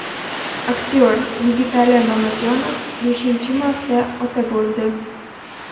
Aktyor Yigitali Mamajonov beshinchi marta ota bo‘ldi .